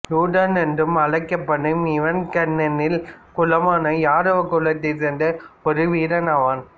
யுயுதனன் என்றும் அழைக்கப்படும் இவன் கண்ணனின் குலமான யாதவ குலத்தைச் சேர்ந்த ஒரு வீரனாவான்